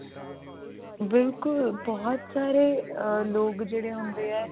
ਬਿਲਕੁਲ ah ਬਹੁਤ ਸਾਰੇ ਲੋਕ ਜਿਹੇ ਹੁੰਦੇ ਆ